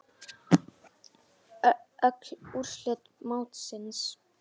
Öll úrslit mótsins